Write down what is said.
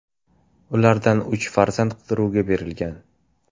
Ulardan uch nafari qidiruvga berilgan.